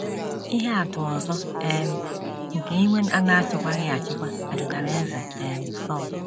Ihe atụ ọzọ um nke iwe a na - achịkwaghị achịkwa metụtara Eze um Sọl.